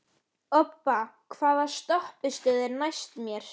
Obba, hvaða stoppistöð er næst mér?